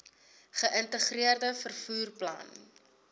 geïntegreerde vervoer plan